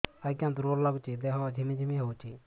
ଆଜ୍ଞା ଦୁର୍ବଳ ଲାଗୁଚି ଦେହ ଝିମଝିମ ହଉଛି